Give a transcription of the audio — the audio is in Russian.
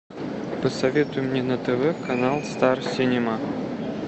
посоветуй мне на тв канал стар синема